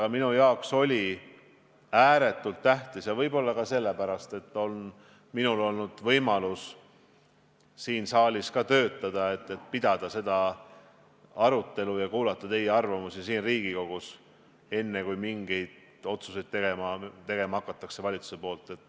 Aga minu jaoks on olnud ääretult tähtis, et mul on olnud võimalus siin saalis töötada, pidada seda arutelu ja kuulata teie arvamusi, enne kui valitsus läheb mingeid otsuseid tegema.